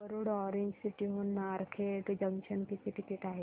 Warud orange city हून Narkhed junction किती ticket आहे